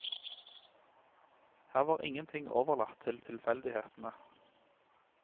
Her var ingen ting overlatt til tilfeldighetene.